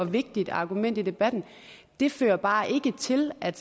vigtigt argument i debatten det fører bare ikke til at